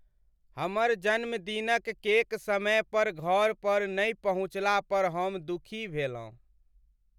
हमर जन्मदिनक केक समय पर घर पर नहि पहुँचला पर हम दुखी भेलहुँ।